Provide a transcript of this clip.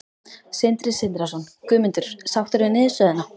Sindri Sindrason: Guðmundur, sáttur við niðurstöðuna?